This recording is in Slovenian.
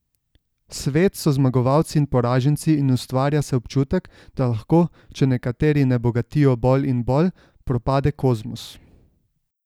Svet so zmagovalci in poraženci in ustvarja se občutek, da lahko, če nekateri ne bogatijo bolj in bolj, propade kozmos.